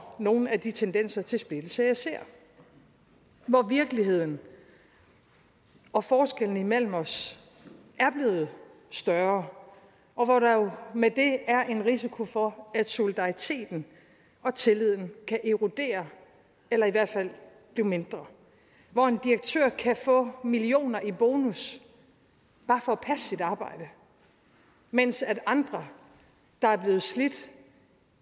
nogle af de tendenser til splittelse jeg ser hvor virkeligheden og forskellene imellem os er blevet større og hvor der med det er en risiko for at solidariteten og tilliden kan erodere eller i hvert fald blive mindre hvor en direktør kan få millioner i bonus bare for at passe sit arbejde mens andre der er blevet slidt